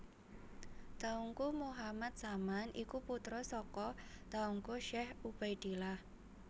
Teungku Muhammad Saman iku putra saka Teungku Syekh Ubaidillah